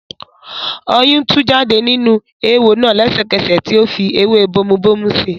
Ọyún tú jáde nínú eéwo náà lẹ́sẹ̀kẹsẹ̀ tí ó fi ewé bomubómú si.